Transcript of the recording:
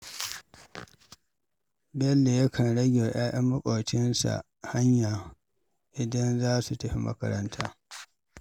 Bello yakan rage wa 'ya'yan maƙocinsa hanya idan za su tafi makaranta.